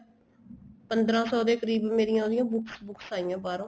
ਪੰਦਰਾਂ ਸੋ ਦੇ ਕਰੀਬ ਮੇਰੀਆਂ ਉਹਦੀਆਂ books books ਆਈਆਂ ਹੈ ਬਾਹਰੋ